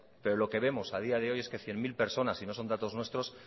pero lo que vemos a día de hoy es que cien mil personas y no son datos nuestros